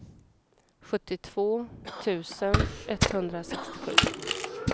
sjuttiotvå tusen etthundrasextiosju